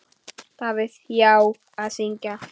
Davíð: Já, að syngja.